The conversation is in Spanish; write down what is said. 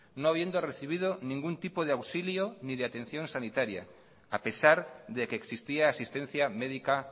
no habiendo recibido ningún tipo de auxilio ni de atención sanitaria a pesar de que existía asistencia médica